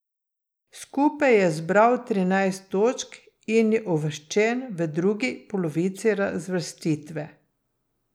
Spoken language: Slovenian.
Skupaj je zbral trinajst točk in je uvrščen v drugi polovici razvrstitve.